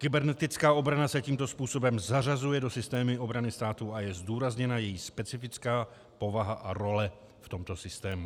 Kybernetická obrana se tímto způsobem zařazuje do systému obrany státu a je zdůrazněna její specifická povaha a role v tomto systému.